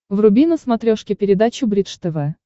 вруби на смотрешке передачу бридж тв